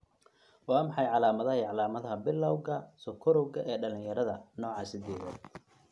Waa maxay calamadaha iyo calaamadaha Bilawga Bilawga sokorowga ee dhalinyarada, nooca sidedad?